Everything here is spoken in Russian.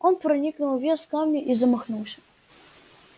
он проникнул вес камня и замахнулся